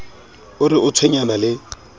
o re o tshwenyana le